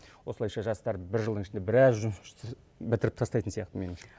осылайша жастар бір жылдың ішінде біраз жұмысшушты бітіріп тастайтын сияқты меніңше